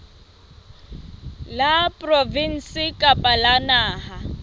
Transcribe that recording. la provinse kapa la naha